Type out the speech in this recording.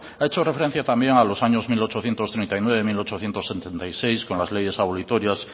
ha hecho referencia también a los años mil ochocientos treinta y nueve mil ochocientos setenta y seis con las leyes abolitorias